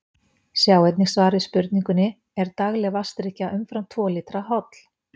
Sjá einnig svar við spurningunni Er dagleg vatnsdrykkja umfram tvo lítra holl?